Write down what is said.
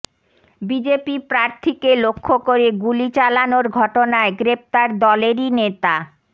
BJP প্রার্থীকে লক্ষ্য করে গুলি চালানোর ঘটনায় গ্রেফতার দলেরই নেতা